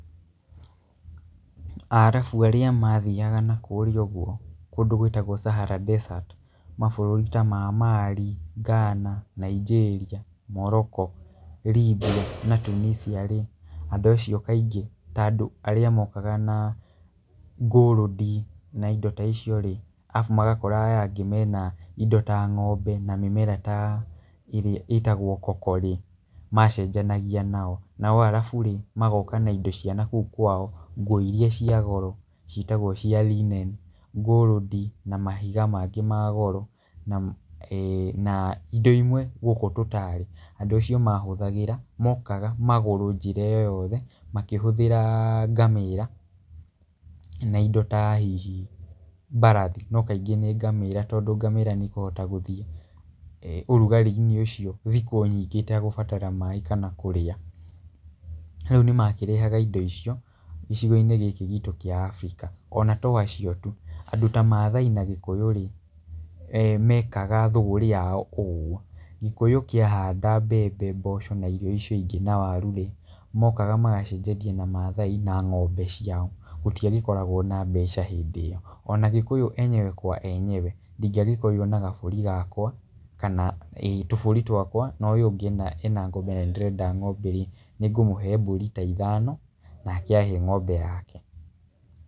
Arabu arĩa mathiaga nakũrĩa ũguo kũndũ gwĩtagwo Sahara Dessert mabũrũri ta ma Mali, Ghana, Nigeria, Morocco, Libya na Tunisia rĩ, andũ acio kaingĩ ta andũ arĩa mokaga na gold na indo ta icio rĩ, arabu magakora aya angĩ mena indo ta ng'ombe na mĩmera ta ĩrĩa ĩtagwo Cocoa rĩ, macenjanagia nao. Nao arabu rĩ magoka na indo cia nakũu kwao, nguo irĩa cia kwao ciĩtagwo linen, gold na mahiga mangĩ ma goro. Na indo imwe gũkũ tũtaarĩ andũ acio mahũthagĩra, mokaga magũrũ njĩra ĩyo yothe makĩhũthĩra ngamĩra na indo ta hihi mbarathi. No kaingĩ nĩ ngamĩra tondú ngamĩra nĩ ĩkũhota gũthiĩ ũrugarĩ-inĩ ũcio thikũ nyingĩ ĩtegũbatara maaĩ kana kũrĩa. Rĩu nĩ makĩrehaga indo icio gĩcigo-inĩ gikĩ gitũ kĩa Africa. Ona to acio tu, andũ ta Maathai na Gĩkũyũ rĩ, mekaga thũgũri yao kũu ũguo. Gĩkũyũ kĩahanda mbembe, mboco na irio icio ingĩ na waru rĩ, mokaga magacenjania na Maathai na ng'ombe ciao. Gũtiagĩkoragwo na mbeca hĩndĩ ĩyo. Ona gĩkũyũ enyewe kwa enyewe ndingĩagĩkorirwo na gabũri gakwa, kana tũbũri twakwa na ũyũ ũngĩ ena ng'ombe na nĩ ndĩrenda ng'ombe rĩ, nĩ ngũmũhe mbũri ta ithano nake ahe ng'ombe yake.